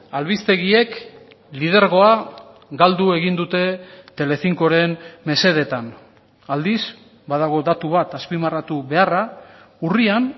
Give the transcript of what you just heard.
albistegiek lidergoa galdu egin dute telecincoren mesedetan aldiz badago datu bat azpimarratu beharra urrian